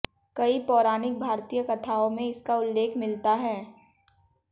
कई पौराणिक भारतीय कथाओं में इसका उल्लेख मिलता है